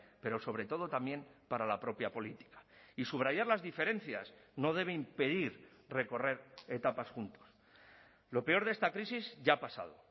pero sobre todo también para la propia política y subrayar las diferencias no debe impedir recorrer etapas juntos lo peor de esta crisis ya ha pasado